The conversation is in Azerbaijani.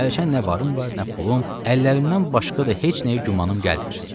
Hərçənd nə varım var, nə pulum, əllərimdən başqa da heç nəyə gümanım gəlmir.